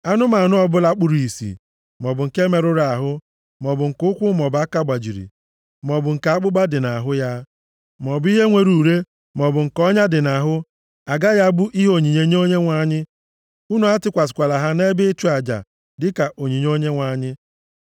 Anụmanụ ọbụla kpuru ìsì, maọbụ nke merụrụ ahụ, maọbụ nke ụkwụ maọbụ aka gbajiri, maọbụ nke akpụkpa dị nʼahụ ya, maọbụ ihe nwere ure, maọbụ nke ọnya dị nʼahụ, agaghị abụ ihe onyinye nye Onyenwe anyị. Unu atụkwasịkwala ha nʼebe ịchụ aja dịka onyinye nye Onyenwe anyị.